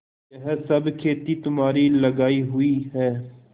यह सब खेती तुम्हारी लगायी हुई है